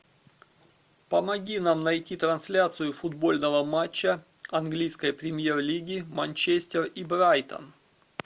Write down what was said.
помоги нам найти трансляцию футбольного матча английской премьер лиги манчестер и брайтон